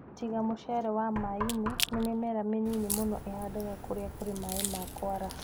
Tiga muchere wa maaĩ-ini, nĩ mĩmera mĩnini mũno ĩĩhandaga kũrĩa kũrĩ maaĩ ma kuaraha.